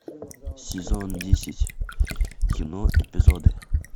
сезон десять кино эпизоды